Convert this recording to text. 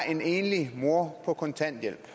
en enlig mor på kontanthjælp